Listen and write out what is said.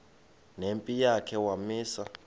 nempi yakhe wamisa